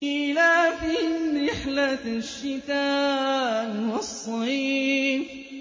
إِيلَافِهِمْ رِحْلَةَ الشِّتَاءِ وَالصَّيْفِ